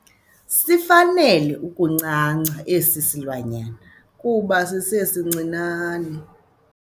Sifanele ukuncanca esi silwanyana kuba sisesincinane.